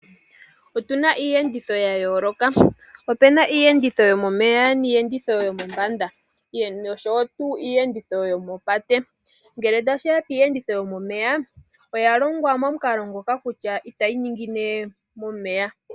Otuna iiyenditho ya yooloka, opena iiyenditho yomomeya niiyenditho yomombanda nosho tuu iiyenditho yokopate. Ngele tashi ya kiiyenditho yomomeya oya longwa momukalo ngoka kutya itayi ningine momeya.